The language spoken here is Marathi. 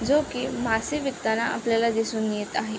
जो की मासे विकताना आपल्याला दिसून येत आहे.